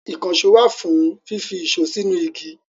Ìkànṣó wà fún fífi ìṣó sínú igi.